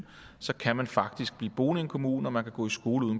kan man faktisk blive boende i en kommune og man kan gå i skole ude